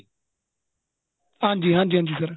ਹਾਂਜੀ ਹਾਂਜੀ ਹਾਂਜੀ ਹਾਂਜੀ sir